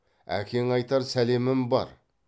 әкеңе айтар сәлемім бар